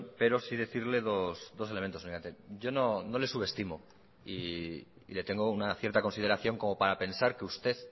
pero sí decirle dos elementos yo no le subestimo y le tengo una cierta consideración como para pensar que usted